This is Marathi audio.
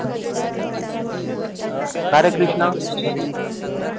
का रे कृष्णा